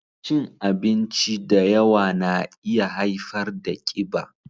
Cin abinci da yawa na iya haifar da ƙiba